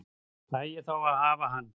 Fæ ég þá að hafa hann?